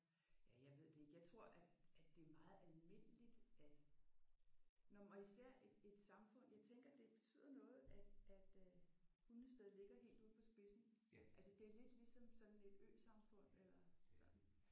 Ja jeg ved det ikke. Jeg tror at at det er meget almindeligt at nå og men især i et samfund jeg tænker at det betyder noget at at øh Hundested ligger helt ude på spidsen. Altså det er lidt ligesom sådan et øsamfund eller sådan